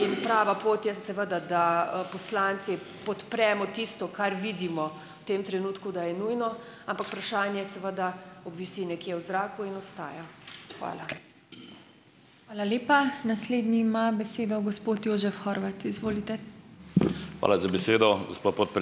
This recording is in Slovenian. in prava pot je seveda, da poslanci podpremo tisto, kar vidimo v tem trenutku, da je nujno, ampak vprašanje seveda visi nekje v zraku in ostaja. Hvala .